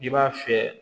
I b'a fiyɛ